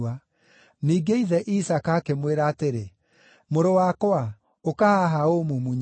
Ningĩ ithe Isaaka akĩmwĩra atĩrĩ, “Mũrũ wakwa, ũka haha ũũmumunye”.